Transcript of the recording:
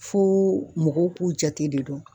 Fo mɔgɔw k'u jate de dɔn.